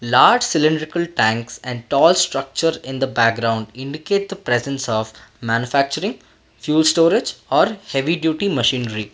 large cylindrical tanks and tall structure in the background indicate the presence of manufacturing fuel storage or heavy duty machinery.